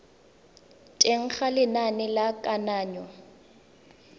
teng ga lenane la kananyo